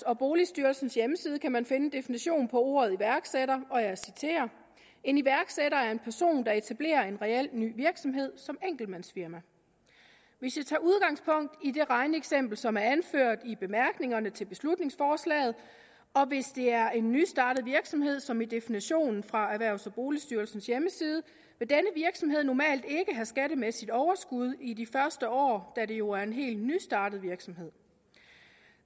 og boligstyrelsens hjemmeside kan man finde en definition på ordet iværksætter og jeg citerer en iværksætter er en person der etablerer en reel ny virksomhed som enkeltmandsfirma hvis jeg tager udgangspunkt i det regneeksempel som er anført i bemærkningerne til beslutningsforslaget og hvis det er en nystartet virksomhed som i definitionen fra erhvervs og boligstyrelsens hjemmeside vil denne virksomhed normalt ikke have skattemæssigt overskud i de første år da det jo er en helt nystartet virksomhed